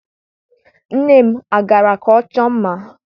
Nne m agara ka ọ chọọ mma?